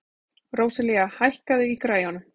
Róselía, hækkaðu í græjunum.